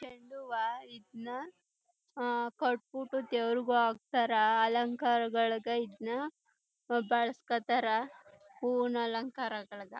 ಚೆಂಡ್ ಹೂವ ಇದ್ನಆ ಕಟ್ಬಿಟು ದೇವರಿಗೂ ಹಾಕ್ತರ ಅಲಂಕಾರಗಳಿಗೆ ಇದನ್ನ ಬಳುಸ್ಕೊತಾರ ಹೂವಿನ ಅಲಂಕಾರಗಳಗ --